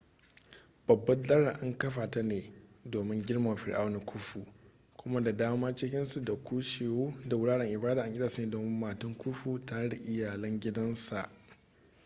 babbar dalar an kafa ta ne domin girmama fir'auna khufu kuma da daman cikinsu da kushewu da wuraren ibada an gina su ne domin matan khufu tare da iyalan gidansa